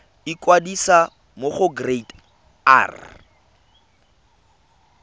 ikwadisa mo go kereite r